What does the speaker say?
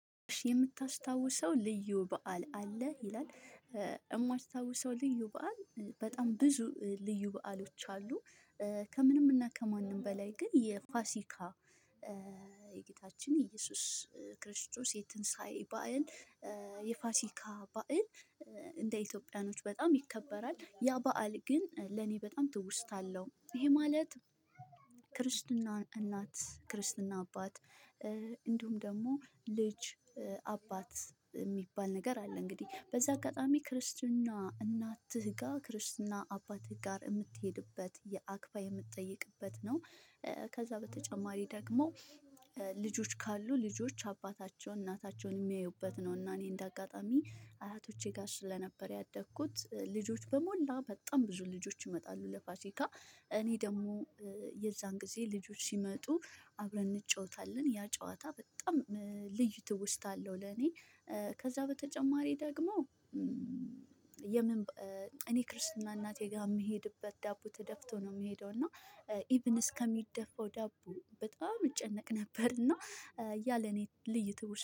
የምታስታውሰው ልዩ በዓል አለ ይላል? እማስታውሰው ልዩ በዓል በጣም ብዙ ልዩ በዓሎች አሉ። ከምንም እና ከማንም በላይ ግን የፋሲካ የ ጌታችን የ እየሱስ ክርስቶስ የትንሳኤ በዓል። የፋሲካ በዓል እንደ ኢትዮጵያኖች በጣም ይከበራል ያ በዓል ግን ለኔ በጣም ትውስታ አለው። ይሄ ማለት። ክርስትና እናት ክርስትና አባት እንዲሁም ደግሞ ልጅ አባት የሚባል ነገር አለ። እንግዲህ በዚህ አጋጣሚ ክርስትና እናትህ ጋር ክርስትና አባትህ ጋር እምትሄድበት የአክባ የምትጠይቅበት ነው። ከዛ በተጨማሪ ደግሞ። ልጆች ካሉ ልጆች አባታቸውን እናታቸውን እሚያዩበት ነው። እና እኔ እንደ አጋጣሚ አያቶቼ ጋር ስለነበር ያደግኩት ልጆች በሞላ በጣም ብዙ ልጆች ይመጣሉ ለፋሲካ። እኔ ደግሞ የዛን ጊዜ ልጆች ሲመጡ አብረን እንጫወታለን ያ ጨዋታ በጣም ልዩ ትውስታለሁ ለኔ። ከዛ በተጨማሪ ደግሞ። የምን እኔ ክርስትና እናቴ ጋር እምሄድበት ዳቦ ተደፍቶ ነው እምሄደው እና። ኢቭን እስከሚደፋው ዳቦ በጣም እጨነቅ ነበር እና። ያለ እኔ ልዩትውስታ